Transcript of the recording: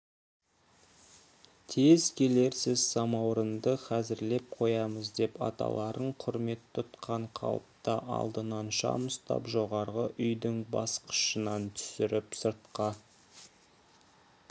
тез келерсіз самаурынды хазірлеп қоямыз деп аталарын құрмет тұтқан қалыпта алдынан шам ұстап жоғарғы үйдің басқышынан түсіріп сыртқа